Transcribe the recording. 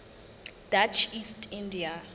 dutch east india